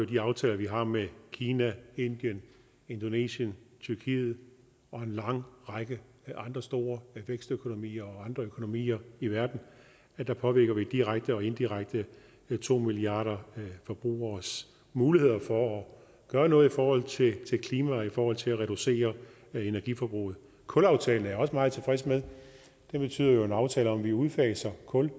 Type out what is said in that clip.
de aftaler vi har med kina indien indonesien tyrkiet og en lang række andre store vækstøkonomier og andre økonomier i verden vi påvirker direkte og indirekte to milliarder forbrugeres muligheder for at gøre noget i forhold til klimaet og i forhold til at reducere energiforbruget kulaftalen er jeg også meget tilfreds med det er jo en aftale der betyder at vi udfaser kul